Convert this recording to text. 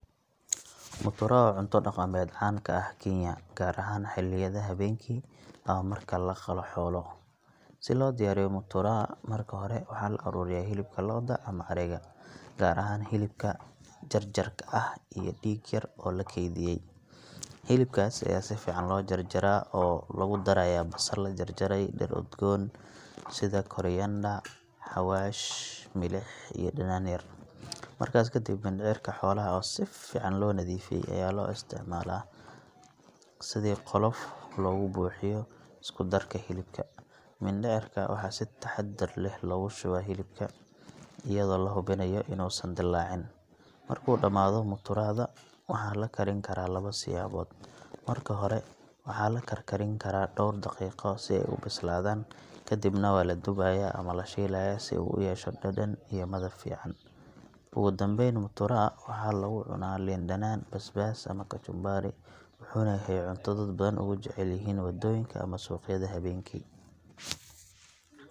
Mutura waa cunto dhaqameed caan ka ah Kenya, gaar ahaan xilliyada habeenkii ama marka la qalo xoolo. Si loo diyaariyo mutura, marka hore waxaa la ururiyaa hilibka lo’da ama ariga, gaar ahaan hilibka jarjarka ah iyo dhiig yar oo la keydiyey. Hilibkaas ayaa si fiican loo jarjaraa oo lagu darayaa basal la jarjaray, dhir udgoon sida coriander, xawaash, milix, iyo dhanaan yar. Markaas ka dib, mindhicirka xoolaha oo si fiican loo nadiifiyey ayaa loo isticmaalaa sidii qolof loogu buuxiyo isku darka hilibka. Mindhicirka waxaa si taxaddar leh loogu shubaa hilibka iyadoo la hubinayo inuusan dillaacin. Markuu dhammaado, muturada waxaa la karin karaa labo siyaabood – marka hore waxaa la karkarin karaa dhowr daqiiqo si ay u bislaadaan, kadibna waa la dubayaa ama la shiilayaa si uu u yeesho dhadhan iyo midab fiican. Ugu dambeyn, mutura waxaa lagu cunaa liin dhanaan, basbaas, ama kachumbari, wuxuuna yahay cunto dad badan ugu jecel yihiin waddooyinka ama suuqyada habeenkii.